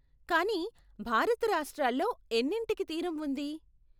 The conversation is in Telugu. కానీ, భారత రాష్ట్రాల్లో ఎన్నింటికి తీరం ఉంది?